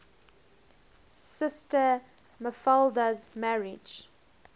sister mafalda's marriage